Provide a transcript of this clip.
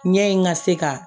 Ɲɛ in ka se ka